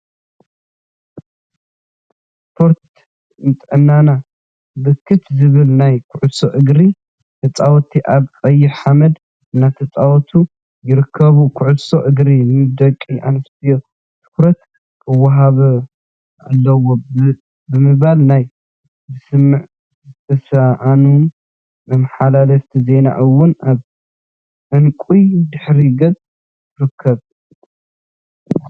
ስፖርት ንጥዕናና! ብርክት ዝበሉ ናይ ኩዕሶ እግሪ ተፃወቲ አብ ቀይሕ ሓመድ እናተፃወቱ ይርከቡ፡፡ ኩዕሶ እግሪ ንደቂ አንስትዮ ትኩረት ክወሃብ አለዎ ብምባል ናይ ምስማዕ ዝተሰአኖም መመሓላለፊት ዜና እውን አብ ዕንቋይ ድሕረ ገፅ ትርከብ፡፡